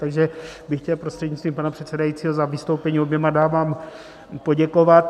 Takže bych chtěl prostřednictvím pana předsedajícího za vystoupení oběma dámám poděkovat.